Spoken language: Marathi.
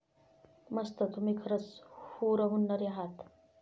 मस्त. तुम्ही खरच हरहुन्नरी आहात.